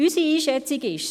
Unsere Einschätzung ist: